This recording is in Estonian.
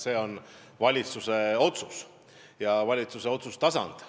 See on valitsuse otsus, valitsuse otsustustasand.